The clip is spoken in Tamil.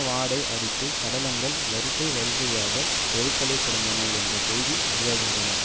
வாடை அடித்தது சடலங்கள் வரிசை வரிசையாக தெருக்களில் கிடந்தன என்ற செய்தி வெளியாகின்றன